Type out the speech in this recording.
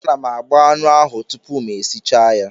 Ana m agba anụ ahụ tupu m esichaa ya.